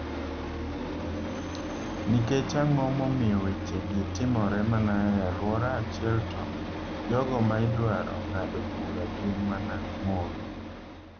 "Nikech ang'o momiyo weche gi timore mana e alwora achiel to jogo ma idwaro ng'ado bura gin mana mon?"""